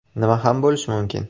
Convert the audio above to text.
Nima ham bo‘lishi mumkin?